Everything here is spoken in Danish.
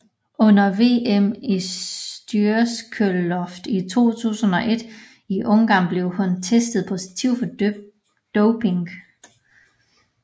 Under VM i styrkeløft i 2001 i Ungarn blev hun testet positiv for doping